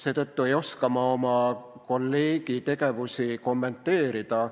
Seetõttu ei oska ma oma kolleegi tegevusi kommenteerida.